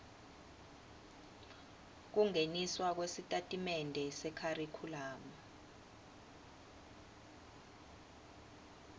kungeniswa kwesitatimende sekharikhulamu